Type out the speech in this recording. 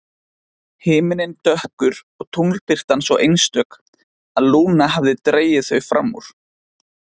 Himinninn dökkur og tunglbirtan svo einstök að Lúna hafði dregið þau fram úr.